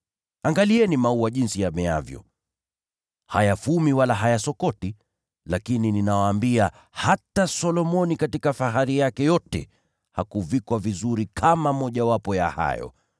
“Angalieni maua jinsi yameavyo: Hayafanyi kazi wala hayafumi. Lakini nawaambia, hata Solomoni katika fahari yake yote hakuvikwa vizuri kama mojawapo ya hayo maua.